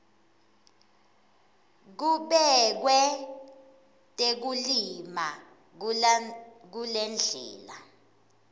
kubekwe tekulima kulendlela